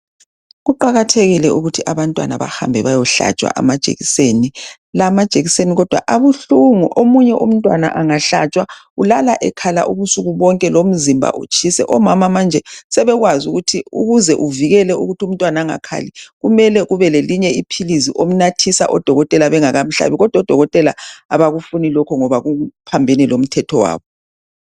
Kuqakathekile ukuthi abantwana bahambe bayehlatshwa amajekiseni. Lamajekiseni kodwa abuhlungu omunye umntwana angahlatshwa ulala ekhala ubusuku bonke lomzimba utshise. Omama manje sebekwazi ukuthi ukuze uvikele umntwana engakhali kumele ube lelinye iphilisi umnathise odokotela bengakamhlabi. Kodwa odokotela abakufuni lokho ngoba kuphambene lomthetho wabo.